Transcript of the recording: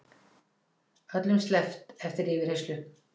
Öllum sleppt eftir yfirheyrslu